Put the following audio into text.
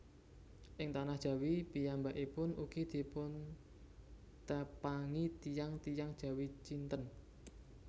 Ing tanah Jawi piyambakipun ugi dipuntepangi tiyang tiyang Jawi Cinten